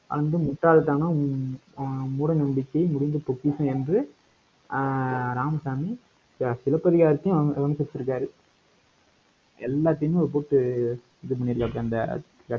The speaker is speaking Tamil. அந்த முட்டாள்தனம், ஆஹ் மூட நம்பிக்கை முடிந்த பொக்கிஷம் என்று ஆஹ் ராமசாமி, இப்ப சிலப்பதிகாரத்தையும், எல்லாத்தையும் கூப்பிட்டு இது பண்ணியிருக்காப்பிடி அந்த